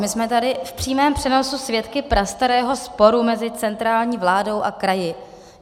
My jsme tady v přímém přenosu svědky prastarého sporu mezi centrální vládou a kraji.